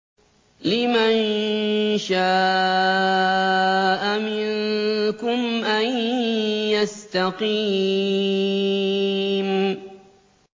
لِمَن شَاءَ مِنكُمْ أَن يَسْتَقِيمَ